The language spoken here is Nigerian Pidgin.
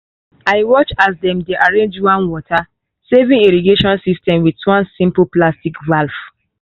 i watch as dem dey arrange one water-saving irrigation system with one simple plastic valve.